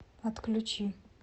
отключи